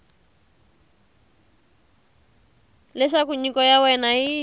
leswaku nyiko ya wena yi